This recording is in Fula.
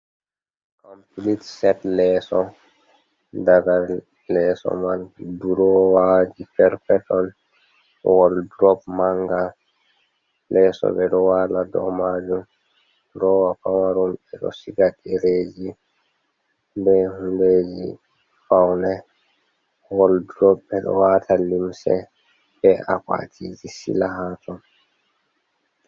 Kompilit set leeso, daga leeso man durowaji perpetol woldrob manga. Leeso ɓe ɗo wala dou majun, durowa pamarun ɓe ɗo siga ɗereeji be hundeeji faune woldrob ɓe ɗo wata limse be akwatiji sila ha ton.